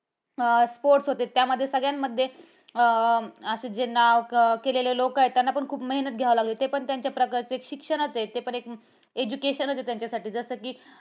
अं sport होते. त्यामध्ये सगळ्यांमध्ये असे जे नाव केलेले लोक आहेत. त्यांना पण मेहनत घ्यावे लागेल, ते पण त्यांच्या एक प्रकारचं शिक्षणच आहे. ते पण education च आहे त्यांच्यासाठी जसं कि